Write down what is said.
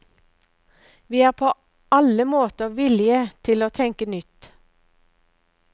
Vi er på alle måter villige til å tenke nytt.